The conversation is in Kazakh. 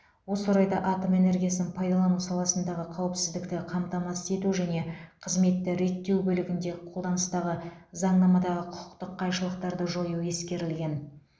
осы орайда атом энергиясын пайдалану саласындағы қауіпсіздікті қамтамасыз ету және кызметті реттеу бөлігінде қолданыстағы заңнамадағы құқықтық қайшылықтарды жою ескерілген